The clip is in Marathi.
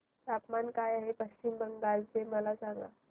तापमान काय आहे पश्चिम बंगाल चे मला सांगा